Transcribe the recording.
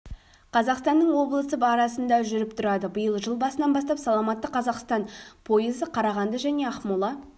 қазақстанның облысы арасында жүріп тұрады биыл жыл басынан бастап саламатты қазақстан пойызы қарағанды және ақмола